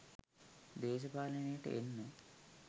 දේශපාලනයට එන්න